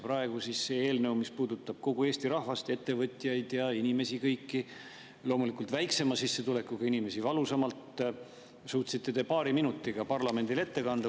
Selle eelnõu, mis puudutab kogu Eesti rahvast, ettevõtjaid ja kõiki inimesi, loomulikult väiksema sissetulekuga inimesi valusamalt, suutsite te paari minutiga parlamendile ette kanda.